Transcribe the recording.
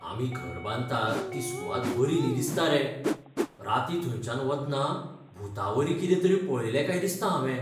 आमी घर बांदतात ती सुवात बरी न्ही दिसता रे. रातीं थंयच्यान वतना भूतावरी कितें तरी पळयलें काय दिसता हावें.